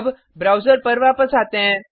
अब ब्राउज़र पर वापस आते हैं